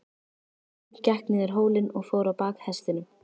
Marteinn gekk niður hólinn og fór á bak hestinum.